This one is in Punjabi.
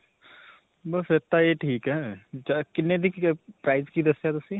ਬਸ ਫਿਰ ਤਾਂ ਇਹ ਠੀਕ ਹੈ. ਕਿੰਨੇ ਦੀ price ਕੀ ਦੱਸਿਆ ਤੁਸੀਂ?